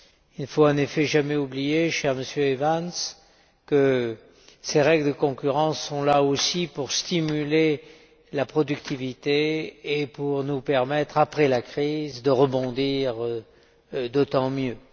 Il ne faut, en effet, jamais oublier, cher Monsieur Evans, que ces règles de concurrence sont là aussi pour stimuler la productivité et pour nous permettre, après la crise, de rebondir d'autant mieux.